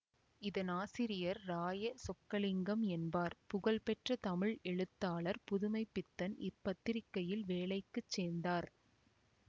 இதன் ஆசிரியர் ராய சொக்கலிங்கம் என்பார் புகழ் பெற்ற தமிழ் எழுத்தாளர் புதுமை பித்தன் இப்பத்திரிக்கையில் வேலைக்கு சேர்ந்தார்